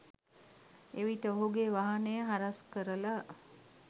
එවිට ඔහුගේ වාහනය හරස්‌ කරලා